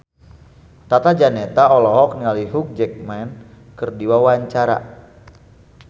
Tata Janeta olohok ningali Hugh Jackman keur diwawancara